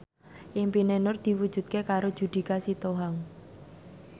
impine Nur diwujudke karo Judika Sitohang